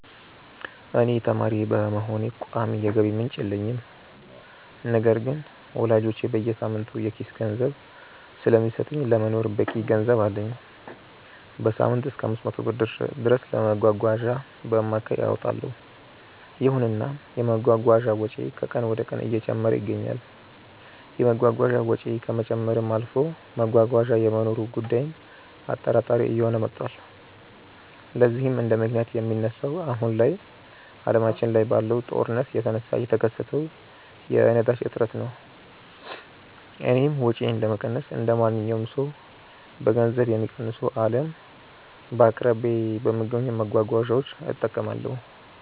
እኔ ተማሪ በመሆኔ ቋሚ የገቢ ምንጭ የለኝም። ነገር ግን ወላጆቼ በየሳምንቱ የኪስ ገንዘብ ስለሚሰጡኝ ለመኖር በቂ ገንዘብ አለኝ። በሳምንትም እሰከ 500 ብር ድረስ ለመጓጓዣ በአማካይ አወጣለው። ይሁንና የመጓጓዣ ወጪዬ ከቀን ወደቀን እየጨመረ ይገኛል። የመጓጓዣ ወጪው ከመጨመርም አልፎ መጓጓዣ የመኖሩ ጉዳይም አጠራጣሪ እየሆነ መቷል። ለዚህም እንደምክንያት የሚነሳው አሁን ላይ አለማችን ላይ ባለው ጦርነት የተነሳ የተከሰተው የነዳጅ እጥረት ነው። እኔም ወጪዬን ለመቀነስ እንደማንኛውም ሰው በገንዘብ የሚቀንሱ አልያም በአቅራቢያዬ በሚገኙ መጓጓዣዎች እጠቀማለሁ።